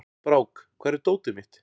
Brák, hvar er dótið mitt?